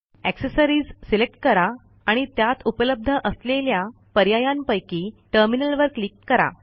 accessories select करा आणि त्यात उपलब्ध असलेल्या पर्यायांपैकी टर्मिनल वर क्लिक करा